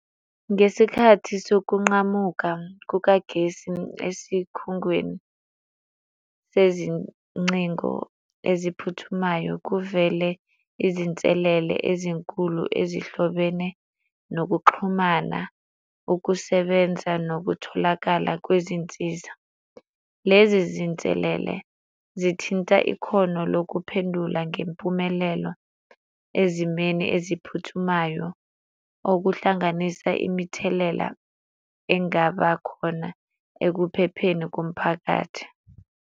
Ngesikhathi sokunqamuka kukagesi esikhungweni sezingcingo eziphuthumayo, kuvele izinselele ezinkulu ezihlobene nokuxhumana, ukusebenza nokutholakala kwezinsiza. Lezi zinselele zithinta ikhono lokuphendula ngempumelelo ezimeni eziphuthumayo okuhlanganisa imithelela engaba khona ekuphepheni komphakathi.